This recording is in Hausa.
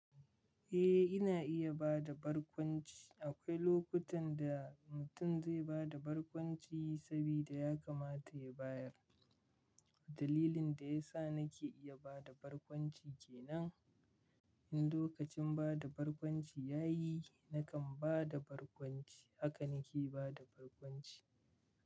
Eh, ina iya ba da barkwanci. Akwai lokutan da mutum zai ba da barkwanci sabida ya kamata ya bayar. Dalilin da ya sa nake iya ba da barkwanci ke nan. In lokacin ba da barkwanci ya yi, nakan ba da barkwanci. Haka nake ba da barkwanci.